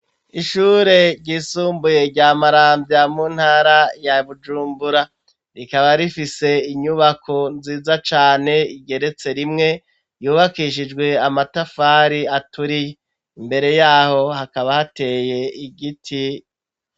Ishure ryisumbuye rya Marambya mu ntara ya Bujumbura rikaba rifise inyubako nziza cane igeretse rimwe yubakishijwe amatafari aturiye imbere yaho hakaba hateye igiti